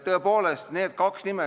Nüüd need kaks nime.